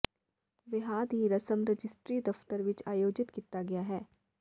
ਵਿਆਹ ਦੀ ਰਸਮ ਰਜਿਸਟਰੀ ਦਫਤਰ ਵਿਚ ਆਯੋਜਿਤ ਕੀਤਾ ਗਿਆ ਹੈ